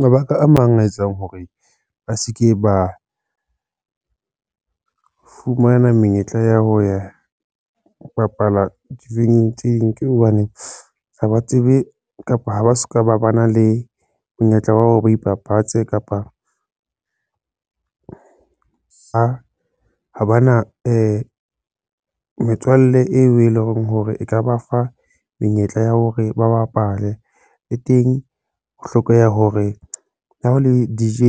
Mabaka a mang a etsang hore ba se ke ba fumana menyetla ya ho ya bapala dibini tse ding, ke hobane ha ba tsebe kapa ha ba soka ba bana le monyetla wa hore ba ipapatsa kapa ka ha bana metswalle eo e leng hore e ka ba fa menyetla ya hore ba bapale e teng ho hlokeha hore ha ho le DJ